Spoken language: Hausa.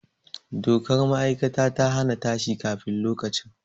Dokar ma'aikatar ta na ta shi kafin lokaci